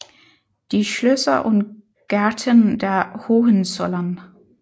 Die Schlösser und Gärten der Hohenzollern